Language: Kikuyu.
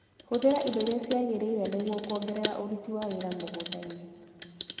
Hũthĩra indo iria ciagĩrĩire nĩguo kuongerera ũruti wa wĩra mũgundainĩ.